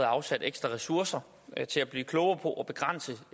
afsat ekstra ressourcer til at blive klogere på og begrænse